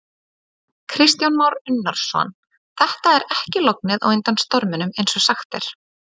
Kristján Már Unnarsson: Þetta er ekki lognið á undan storminum eins og sagt er?